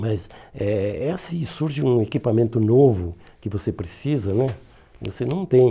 Mas eh é assim se surge um equipamento novo que você precisa né, você não tem.